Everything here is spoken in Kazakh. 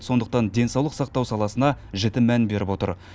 сондықтан денсаулық сақтау саласына жіті мән беріп отыр